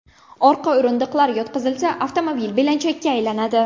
Orqa o‘rindiqlar yotqizilsa, avtomobil belanchakka aylanadi.